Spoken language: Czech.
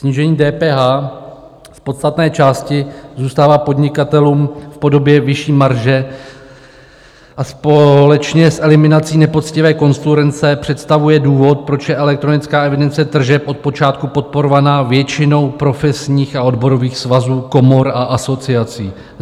Snížení DPH v podstatné části zůstává podnikatelům v podobě vyšší marže a společně s eliminací nepoctivé konkurence představuje důvod, proč je elektronická evidence tržeb od počátku podporovaná většinou profesních a odborových svazů, komor a asociací.